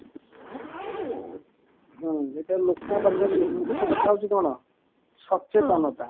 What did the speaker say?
ହୁଁ ଏଇଟା ଲୋକଙ୍କ ପାଖରେ ମୁଖ୍ୟ କଥା ହଉଚି କଣ ସଚେତନତା